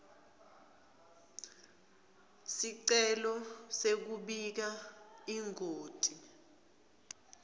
sicelo sekubika ingoti